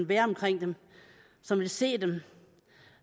være omkring dem som vil se dem